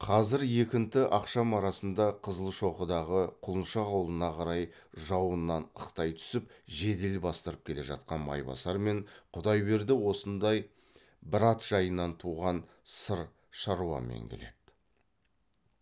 қазір екінті ақшам арасында қызылшоқыдағы құлыншақ аулына қарай жауыннан ықтай түсіп жедел бастырып келе жатқан майбасар мен құдайберді осындай бір ат жайынан туған сырт шаруамен келеді